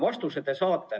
Vastuse te saate.